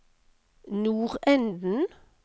nordenden